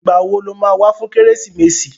Ìgbà wo lo ma wá fún Kérésìmesì?